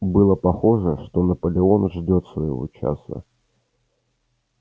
было похоже что наполеон ждёт своего часа